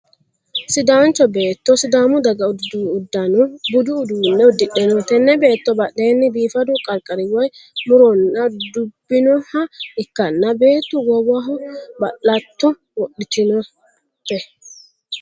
Sidaancho beetto sidaamu daga uddidhanno budu uduunne uddidhe no. Tenne beetto badheenni biifadu qarqari woy mu'ronna dubbinooha ikkanna beetto goowaho ba'latto wodhitinote.